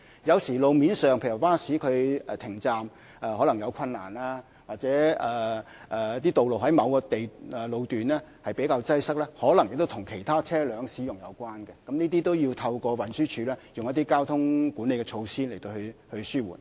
有時候路面的交通問題，例如巴士靠站有困難，或者某些道路在某個路段比較擠塞，可能跟其他車輛的使用有關，這些都要透過運輸署利用交通管理措施來紓緩。